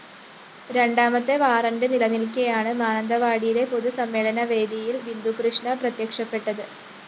രണ്ടാമത്തെ വാറന്റ്‌ നിലനില്‍ക്കെയാണ് മാനന്തവാടിയിലെ പൊതുസമ്മേളനവേദിയില്‍ ബിന്ദുകൃഷ്ണ പ്രത്യക്ഷപ്പെട്ടത്